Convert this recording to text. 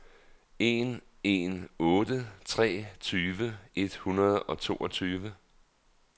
en en otte tre tyve et hundrede og toogtyve